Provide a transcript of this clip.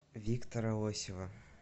виктора лосева